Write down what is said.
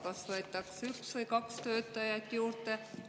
Kas võetakse üks või kaks töötajat juurde?